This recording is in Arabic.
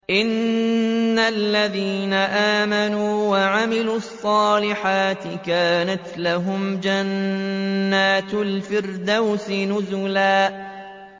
إِنَّ الَّذِينَ آمَنُوا وَعَمِلُوا الصَّالِحَاتِ كَانَتْ لَهُمْ جَنَّاتُ الْفِرْدَوْسِ نُزُلًا